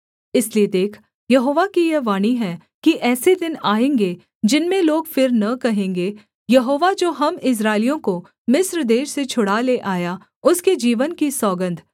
इसलिए देख यहोवा की यह वाणी है कि ऐसे दिन आएँगे जिनमें लोग फिर न कहेंगे यहोवा जो हम इस्राएलियों को मिस्र देश से छुड़ा ले आया उसके जीवन की सौगन्ध